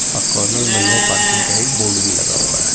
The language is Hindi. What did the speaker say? और कॉर्नर मे नो पार्किंग का एक बोर्ड भी लगा हुआ हे.